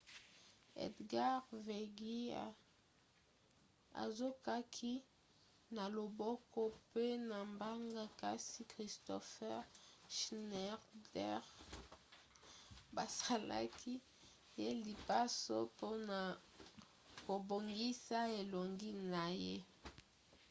edgar veguilla azokaki na loboko pe na mbanga kasi kristoffer schneider basalaki ye lipaso mpona kobongisa elongi na ye